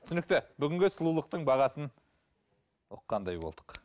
түсінікті бүгінгі сұлулықтың бағасын ұққандай болдық